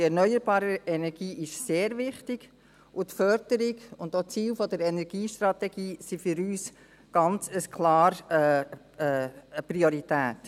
Die erneuerbare Energie ist sehr wichtig, und die Förderung und auch die Ziele der Energiestrategie sind für uns ganz klar eine Priorität.